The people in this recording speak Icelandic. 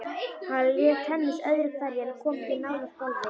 Hann lék tennis öðru hverju en kom ekki nálægt golfi.